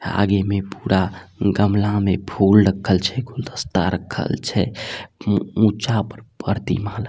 आगे में पूरा गमला में फूल रक्खल छे गुलदस्ता रक्खल छे ऊंचा पर-- परतिमा --